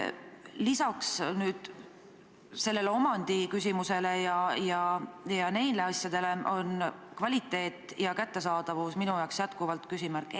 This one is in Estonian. Lisaks omandiküsimusele ja sellega seotud asjadele on minu jaoks endiselt küsimärgi all kvaliteet ja kättesaadavus.